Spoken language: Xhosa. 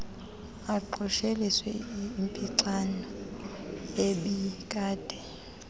aqosheliswe impixano ebikade